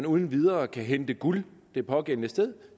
uden videre kan hente guld det pågældende sted